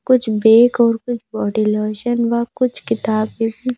कुछ बेक अ कुछ बॉडी लोशन व कुछ किताब उम --